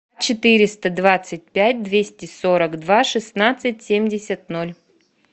четыреста двадцать пять двести сорок два шестнадцать семьдесят ноль